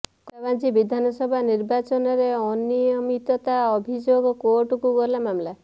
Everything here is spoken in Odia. କଂଟାବାଞ୍ଜି ବିଧାନସଭା ନିର୍ବାଚନରେ ଅନିୟମିତତା ଅଭିଯୋଗ କୋର୍ଟକୁ ଗଲା ମାମଲା